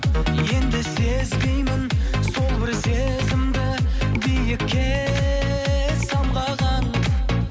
енді сезбеймін сол бір сезімді биікке самғаған